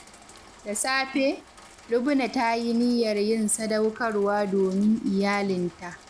Da safe, Lubna ta yi niyyar yin sadaukarwa domin iyalinta.